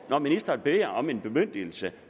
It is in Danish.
når ministeren beder om en bemyndigelse